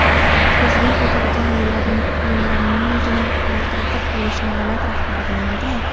Prezident o‘tadigan yo‘llarninggina yaltiratib qo‘yilishini davlat rahbari bilmaydimi?